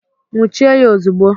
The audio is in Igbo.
Nwuchie ya ozugbo!